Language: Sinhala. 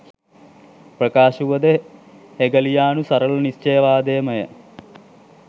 ප්‍රකාශ වුවද හෙගලියානු සරල නිශ්චයවාදයම ය.